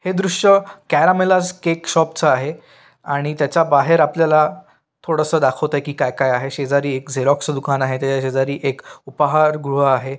हे दृश्य क्यारा मेल्लास केक शॉपच आहे आणि त्याच्या बाहेर आपल्याला थोडस दाखवतेय की काय काय आहे शेजारी झेरॉक्स च दुकान आहे त्याच्या शेजारी एक उपहार गृह आहे.